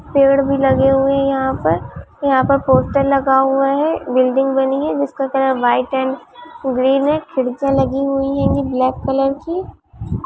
पेड़ भी लगे हुए है यहाँ पर यह पर पोस्टर लगा हुआ है बिल्डिंग बनी है जिसका कलर व्हाइट एण्ड ग्रीन है खिड़किया लगी हुई है ब्लैक कलर की।